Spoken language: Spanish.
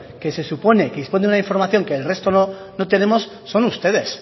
que se supone que disponen de una información que el resto no tenemos son ustedes